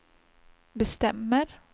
bestämmer